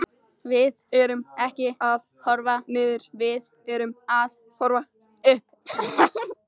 Við erum ekki að horfa niður, við erum að horfa upp.